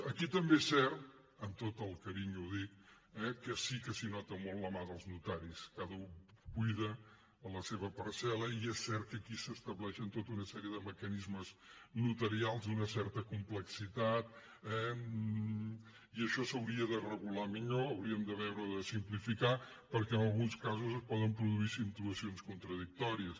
aquí també és cert amb tot el carinyo ho dic eh que sí que s’hi nota molt la mà dels notaris cada u cuida la seva parcel·la i és cert que aquí s’estableixen tota una sèrie de mecanismes notarials d’una certa complexitat eh i això s’hauria de regular millor hauríem de veure de simplificar ho perquè en alguns casos es poden produir situacions contradictòries